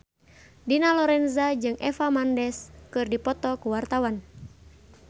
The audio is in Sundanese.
Dina Lorenza jeung Eva Mendes keur dipoto ku wartawan